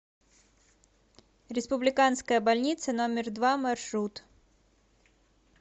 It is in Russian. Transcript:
республиканская больница номер два маршрут